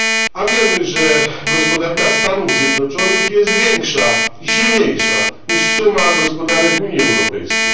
A wiemy, że gospodarka Stanów Zjednoczonych jest większa i silniejsza niż suma gospodarek Unii Europejskiej.